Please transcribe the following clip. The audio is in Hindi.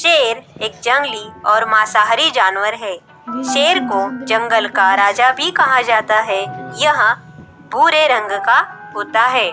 ये एक जंगली और मांसाहारी जानवर है। शेर को जंगल का राजा भी कहा जाता है। यह भूरे रंग का होता है।